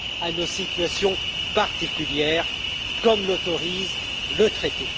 à nos situations particulières, comme l'autorise le traité.